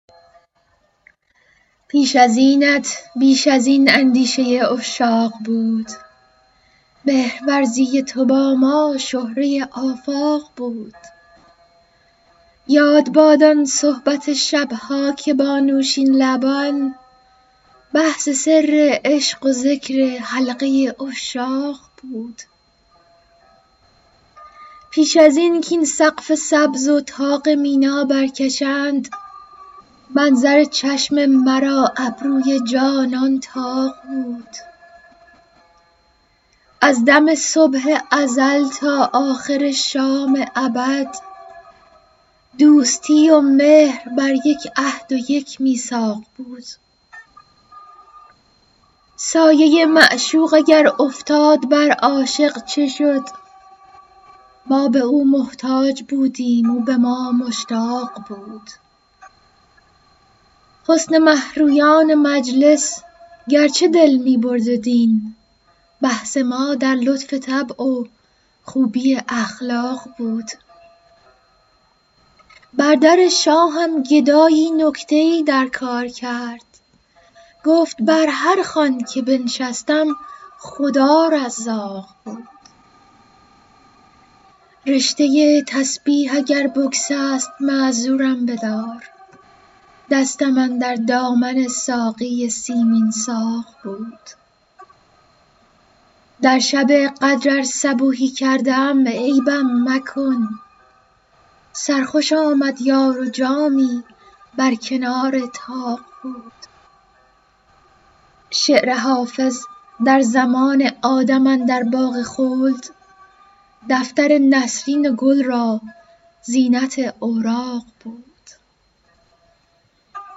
پیش از اینت بیش از این اندیشه عشاق بود مهرورزی تو با ما شهره آفاق بود یاد باد آن صحبت شب ها که با نوشین لبان بحث سر عشق و ذکر حلقه عشاق بود پیش از این کاین سقف سبز و طاق مینا برکشند منظر چشم مرا ابروی جانان طاق بود از دم صبح ازل تا آخر شام ابد دوستی و مهر بر یک عهد و یک میثاق بود سایه معشوق اگر افتاد بر عاشق چه شد ما به او محتاج بودیم او به ما مشتاق بود حسن مه رویان مجلس گرچه دل می برد و دین بحث ما در لطف طبع و خوبی اخلاق بود بر در شاهم گدایی نکته ای در کار کرد گفت بر هر خوان که بنشستم خدا رزاق بود رشته تسبیح اگر بگسست معذورم بدار دستم اندر دامن ساقی سیمین ساق بود در شب قدر ار صبوحی کرده ام عیبم مکن سرخوش آمد یار و جامی بر کنار طاق بود شعر حافظ در زمان آدم اندر باغ خلد دفتر نسرین و گل را زینت اوراق بود